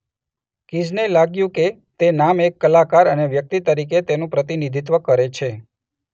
કીઝને લાગ્યું કે તે નામ એક કલાકાર અને વ્યક્તિ તરીકે તેનું પ્રતિનિધિત્વ કરે છે.